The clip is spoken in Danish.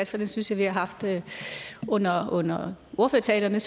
for den synes jeg vi har haft under under ordførertalerne